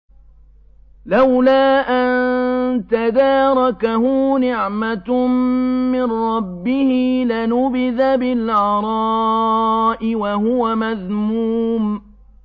لَّوْلَا أَن تَدَارَكَهُ نِعْمَةٌ مِّن رَّبِّهِ لَنُبِذَ بِالْعَرَاءِ وَهُوَ مَذْمُومٌ